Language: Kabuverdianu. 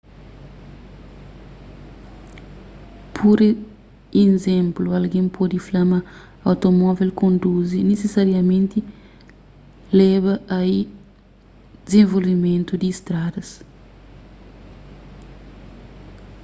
pur izénplu algen pode fla ma automóvel kondizi nisisariamenti leba ai dizenvolvimentu di stradas